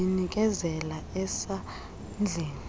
ndiyi nikezela esandleni